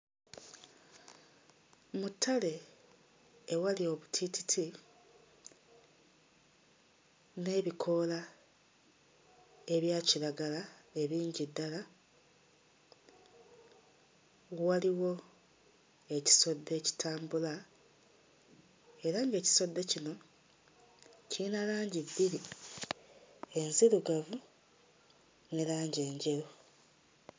Mu ttale ewali obutiititi n'ebikoola ebya kiragala ebingi ddala, waliwo ekisodde ekitambula era ng'ekisodde kino kiyina langi bbiri; enzirugavu ne langi enjeru.